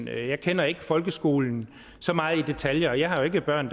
jeg kender ikke folkeskolen så meget i detaljer jeg har jo ikke børn